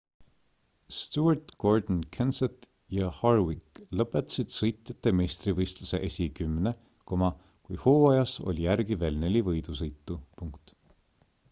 stewart gordon kenseth ja harvick lõpetasid sõitjate meistrivõistluse esikümne kui hooajas oli järgi veel neli võidusõitu